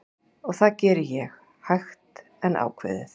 Og það gerði ég, hægt en ákveðið.